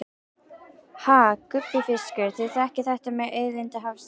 Ha gúbbífiskar, þið þekkið þetta með auðlindir hafsins.